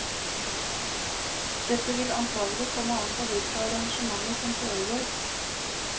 Dette vil antagelig komme an på hvilke arrangementer som foregår.